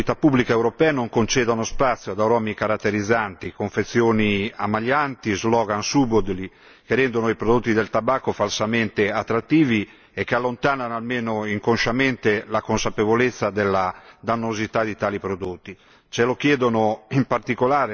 Ritengo doveroso che le autorità pubbliche europee non concedano spazio ad aromi caratterizzanti, confezioni ammaglianti e slogan subdoli, che rendono i prodotti del tabacco falsamente attrattivi e che allontanano almeno inconsciamente la consapevolezza della dannosità di tali prodotti.